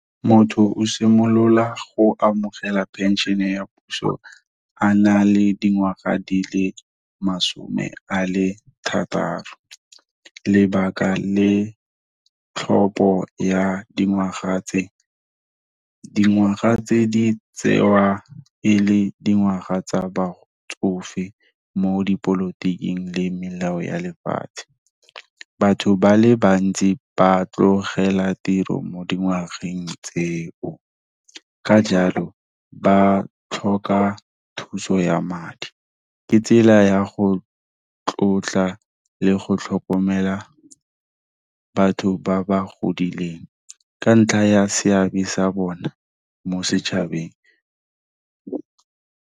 Motho o simolola go amogela penšhene ya puso a na le dingwaga di le masome a le thataro. Lebaka le tlhopho ya dingwaga tse, dingwaga tse, di tsewa e le dingwaga tsa batsofe mo dipolotiking, le melao ya lefatshe. Batho ba le bantsi, ba tlogela tiro mo dingwageng tseo. Ka jalo, ba tlhoka thuso ya madi. Ke tsela ya go tlotla le go tlhokomela batho ba ba godileng, ka ntlha ya seabe sa bona mo setšhabeng.